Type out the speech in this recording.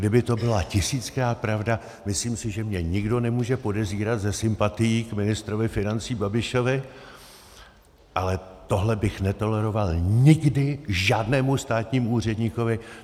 Kdyby to byla tisíckrát pravda, myslím si, že mě nikdo nemůže podezírat ze sympatií k ministrovi financí Babišovi, ale tohle bych netoleroval nikdy žádnému státnímu úředníkovi!